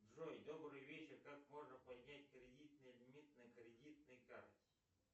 джой добрый вечер как можно поднять кредитный лимит на кредитной карте